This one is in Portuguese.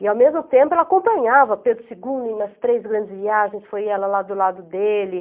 E ao mesmo tempo ela acompanhava Pedro segundo nas três grandes viagens, foi ela lá do lado dele.